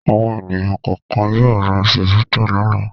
Àwọn ènìyàn kọ̀ọ̀kan yóò ra Chivita lọ́la.